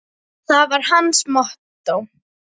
Það var hans mottó.